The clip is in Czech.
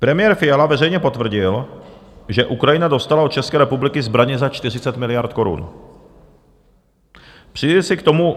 Premiér Fiala veřejně potvrdil, že Ukrajina dostala od České republiky zbraně za 40 miliard korun.